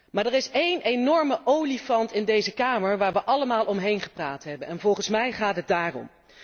Maar er is één enorme olifant in deze kamer waar we allemaal omheen hebben gepraat en volgens mij gaat het daarom.